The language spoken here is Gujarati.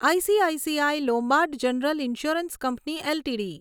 ICICI Lombard general insurance company LTD